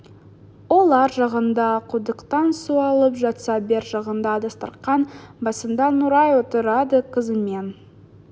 ол ар жағында құдықтан су алып жатса бер жағында дастарқан басында нұрай отырады қызымен